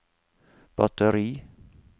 batteri